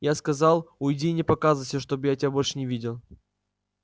я сказал уйди и не показывайся чтобы я тебя больше не видел